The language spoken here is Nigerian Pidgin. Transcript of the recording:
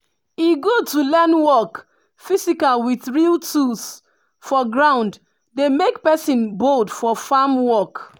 e good to learn work physical with real tools for ground dey make person bold for farm work.